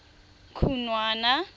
khunwana